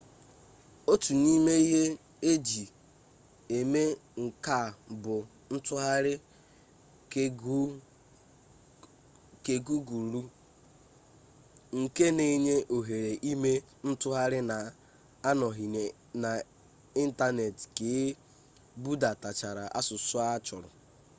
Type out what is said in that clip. otu n'ime ihe eji eme nke a bụ ntụgharị kegugulụ nke na-enye ohere ime ntụgharị na-anọghị n'ịntanetị ka e budatachara asụsụ a chọrọ